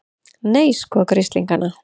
Nei, sko grislingana!